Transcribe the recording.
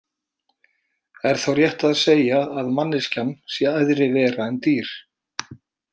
Er þá rétt að segja að manneskjan sé æðri vera en dýr?